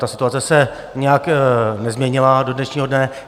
Ta situace se nijak nezměnila do dnešního dne.